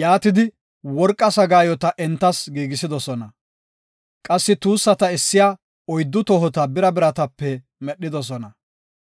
Yaatidi worqa sagaayota entas giigisidosona. Qassi tuussata essiya oyddu tohota bira biratape medhidosona.